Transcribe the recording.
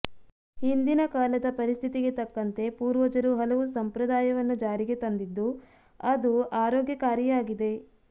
ಹಿಂದಿನ ಕಾಲದ ಪರಿಸ್ಥಿತಿಗೆ ತಕ್ಕಂತೆ ಪೂರ್ವಜರು ಹಲವು ಸಂಪ್ರದಾಯವನ್ನು ಜಾರಿಗೆ ತಂದಿದ್ದು ಆದು ಆರೋಗ್ಯಕಾರಿಯಾಗಿದೆ